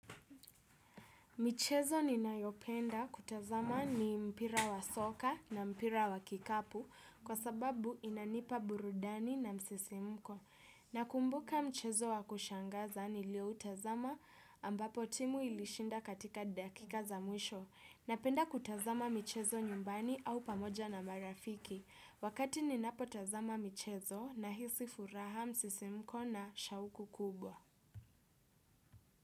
Michezo ninayopenda kutazama ni mpira wa soka na mpira wa kikapu kwa sababu inanipa burudani na msisimko. Nakumbuka mchezo wa kushangaza nilio utazama ambapo timu ilishinda katika dakika za mwisho. Napenda kutazama michezo nyumbani au pamoja na marafiki wakati ninapotazama michezo nahisi furaha msisimko na shauku kubwa.